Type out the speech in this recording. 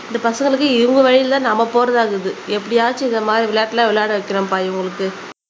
இந்த பசங்களுக்கு இவங்க வழியிலே நம்ம போறதா இருக்குது. எப்படியாச்சும் இந்த மாதிரி விளையாட்டு எல்லாம் விளையாட வைக்கிறோம்ப்பா இவங்களுக்கு